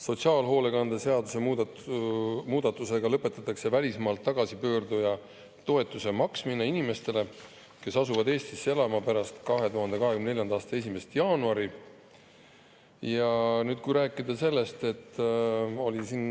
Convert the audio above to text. Sotsiaalhoolekande seaduse muudatusega lõpetatakse välismaalt tagasipöörduja toetuse maksmine inimestele, kes asuvad Eestisse elama pärast 2024. aasta 1. jaanuari.